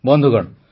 ବନ୍ଧୁଗଣ